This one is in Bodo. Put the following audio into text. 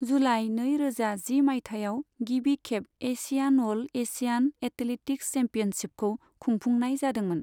जुलाइ नै रोजा जि मयथाइयाव, गिबि खेब एशियान अल एसियान एथलेटिक्स चैम्पियनसिपखौ खुंफुंनाय जादोंमोन।